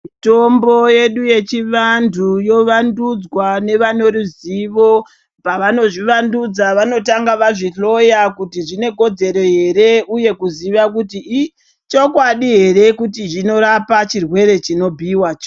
Mutombo yedu yechivantu yovandudzwa novanoruzivo, pavanozvivandudza vanotanga vazvihloya kuti zvinekodzero here uye kuziva kuti ichikwadi here kuti zvinorapa chirwere chinobhiyiwacho.